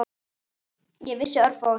Ég vissi örfáa hluti.